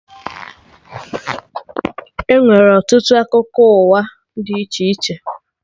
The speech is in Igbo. Enwere ọtụtụ akwụkwọ akụkọ ụwa dị iche iche